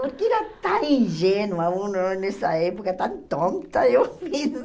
Porque era tão ingênua, uh na nessa época, tão tonta, eu fiz.